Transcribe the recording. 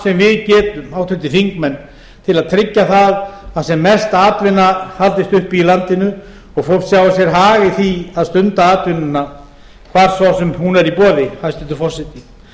sem við getum háttvirtir þingmenn til að tryggja það að sem mest atvinna haldist uppi í landinu og fólk sjái sér hag í því að stunda atvinnuna hvar svo sem hún er í boði hæstvirtur forseti